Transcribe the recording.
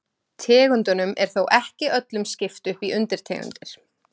Tegundum er þó ekki öllum skipt upp í undirtegundir.